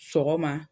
Sɔgɔma